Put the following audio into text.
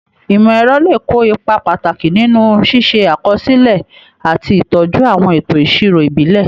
Ìmọ̀-ẹ̀rọ lè kó ipa pàtàkì nínú ṣíṣe àkọsílẹ̀ àti ìtọ́jú àwọn ètò ìṣirò ìbílẹ̀.